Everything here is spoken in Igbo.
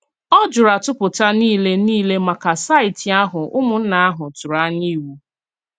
Ó jùrù àtùpù̀tá niile niile màkà saịtì ahụ ùmùnnà ahụ tụrụ̀ ànyà ìwù.